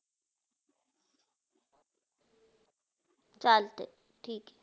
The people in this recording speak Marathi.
चालते, ठीक हे.